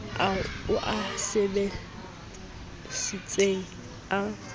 ao o a sebesisitseng a